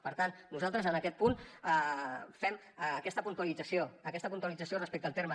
per tant nosaltres en aquest punt fem aquesta puntualització aquesta puntualització respecte al terme